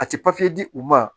A tɛ di u ma